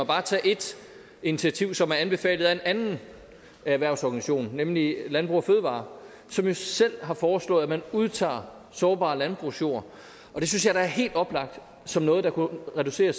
bare tage et initiativ som er anbefalet af en anden erhvervsorganisation nemlig landbrug fødevarer som jo selv har foreslået at man udtager sårbar landbrugsjord og det synes jeg da er helt oplagt som noget der kunne reducere